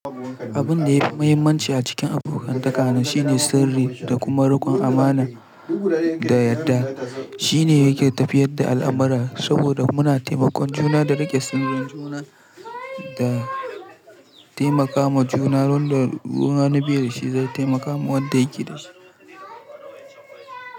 Abun da yafi mahimmanci a cikin abokantaka na shine sirri da kuma riƙon amana da yadda, shine yake tafiyar da al'amura saboda muna taimakon juna da riƙe sirrin juna, da taimaka ma juna don da wani bai da shi zai taimaka ma wanda yake da shi.